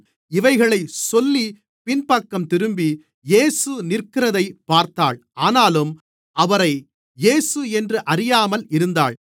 இவைகளைச் சொல்லிப் பின்பக்கம் திரும்பி இயேசு நிற்கிறதைப் பார்த்தாள் ஆனாலும் அவரை இயேசு என்று அறியாமல் இருந்தாள்